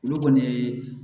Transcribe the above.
Olu kɔni ye